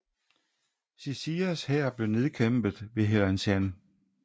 Xi Xias hær blev nedkæmpet ved Helanshan